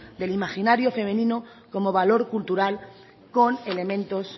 del imaginario femenino como valor cultural con elementos